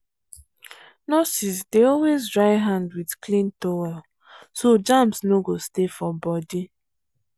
nurses dey always dry hand with clean towel so germs no go stay for body.